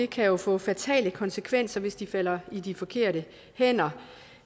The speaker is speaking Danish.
kan få fatale konsekvenser hvis de falder i de forkerte hænder